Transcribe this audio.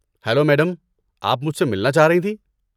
Hello madam, آپ مجھ سے ملنا چاہ رہی تھیں؟